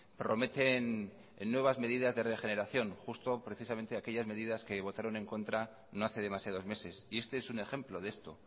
prometen nuevas medidas de regeneración justo aquellas medidas que votaron en contra no hace demasiados meses este es un ejemplo de esto